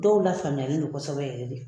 Dɔw la faamuya kosɛbɛ yɛrɛ de.